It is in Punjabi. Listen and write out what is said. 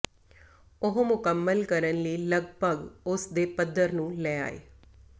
ਉਹ ਮੁਕੰਮਲ ਕਰਨ ਲਈ ਲਗਭਗ ਉਸ ਦੇ ਪੱਧਰ ਨੂੰ ਲੈ ਆਏ